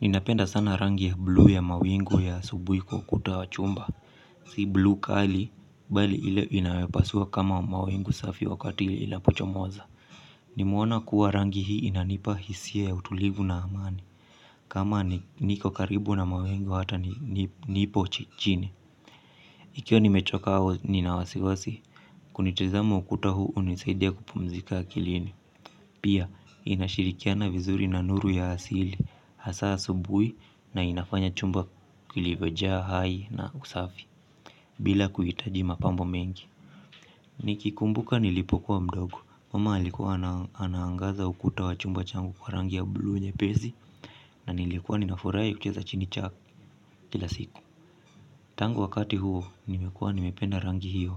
Ninapenda sana rangi ya blu ya mawingu ya asubuhi kwa ukuta wa chumba. Si blu kali, bali ile inayopasua kama mawingu safi wakati ile inapochomoza. Nimeona kuwa rangi hii inanipa hisia ya utulivu na amani. Kama niko karibu na mawingu hata nipo chichini. Ikiwa nimechoka au nina wasiwasi kunitizama ukuta huu hunisaidia kupumzika akilini. Pia, inashirikiana vizuri na nuru ya asili. Hasa asubuhi na inafanya chumba kilivyojaa, hai na usafi. Bila kuhitaji mapambo mengi nikikumbuka nilipokuwa mdogo Mama alikuwa anaangaza ukuta wa chumba changu kwa rangi ya blue nye pezi. Na nilikuwa ninafurahi cheza chini chaki kila siku. Tangu wakati huo nimekuwa nimependa rangi hiyo.